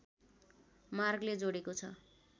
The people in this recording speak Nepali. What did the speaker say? मार्गले जोडेको छ